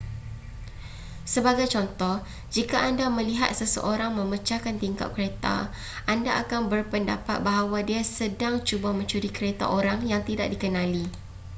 sebagai contoh jika anda melihat seseorang memecahkan tingkap kereta anda akan berpendapat bahawa dia sedang cuba mencuri kereta orang yang tidak dikenali